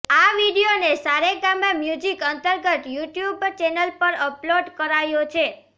આ વિડીયોને સારેગામા મ્યૂજિક અંતર્ગત યુટ્યુબ ચેનલ પર અપલોડ કરાયો છે